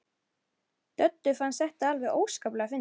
Döddu fannst þetta alveg óskaplega fyndið.